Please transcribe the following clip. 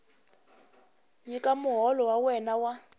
nyika muholo wa wena wa